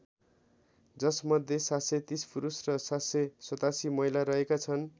जसमध्ये ७३० पुरुष र ७८७ महिला रहेका छन्।